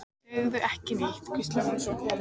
Segðu ekki neitt, hvíslaði hún svo.